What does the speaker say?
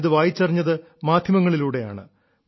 ഞാനിത് വായിച്ചറിഞ്ഞത് മാധ്യമങ്ങളിലൂടെയാണ്